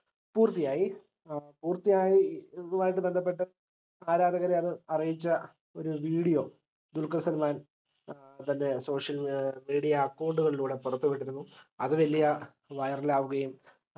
പൂർത്തിയായി ഏർ പൂർത്തിയായിതുമായി ബന്ധപ്പെട്ട ആരാധകരെ അത് അറിയിച്ച ഒര് video ദുൽഖർ സൽമാൻ തന്റെ social media account കളിലൂടെ പുറത്തുവിട്ടിരുന്നു അത് വലിയ viral ആവുകയും